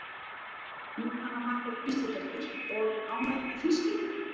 Jóhanna Margrét Gísladóttir: Og ánægð með fiskinn?